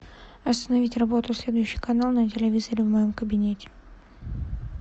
остановить работу следующий канал на телевизоре в моем кабинете